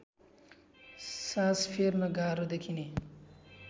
सास फेर्न गाह्रो देखिने